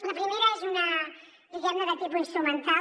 la primera és una diguem ne de tipus instrumental